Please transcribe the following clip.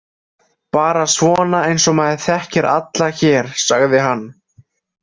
Bara svona eins og maður þekkir alla hér, sagði hann.